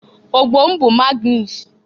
Ogbo bụ Magnus.